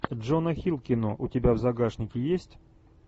джона хилл кино у тебя в загашнике есть